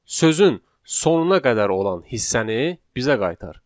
Sözün sonuna qədər olan hissəni bizə qaytar.